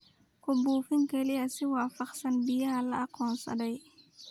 Ku buufin kaliya si waafaqsan baahiyaha la aqoonsaday.